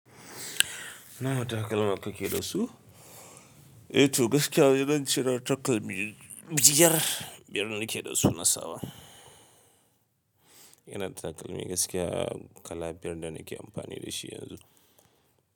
Nawa takalma ka ke da su? Eh to gaskiya dai zance cire takalmi biyar, biyar nike da su na sawa. Ina takalmi gaskiya kala biyar da nake amfani da shi yanzu.